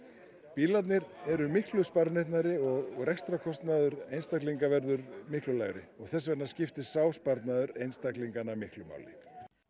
bílarnir eru miklu sparneytnari og rekstrarkostnaður einstaklinga verður miklu lægri og þess vegna skiptir sá sparnaður einstaklingana miklu máli